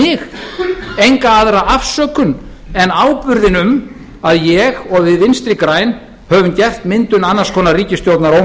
mig enga aðra afsökun en áburðinn um að ég og við vinstri græn höfum gert myndun annars konar ríkisstjórnar